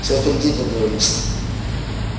всё впереди как говорится